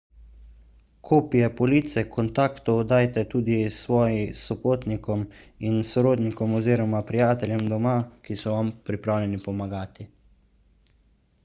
kopije police/kontaktov dajte tudi svoji sopotnikom in sorodnikom oziroma prijateljem doma ki so vam pripravljeni pomagati